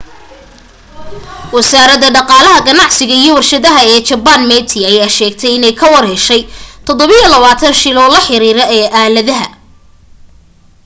wasaaradda dhaqaalaha ganacsiga iyo warshadaha ee jabbaan meti ayaa sheegtay inay ka warheshay 27 shil oo la xariiro aaladaha